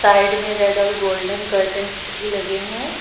Side में red और golden curtains भी लगे हैं।